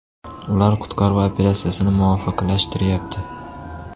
Ular qutqaruv operatsiyasini muvofiqlashtiryapti.